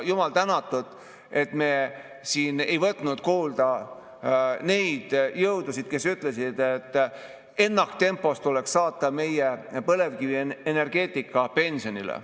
Jumal tänatud, et me ei võtnud kuulda neid jõudusid, kes ütlesid, et ennaktempos tuleks saata meie põlevkivienergeetika pensionile.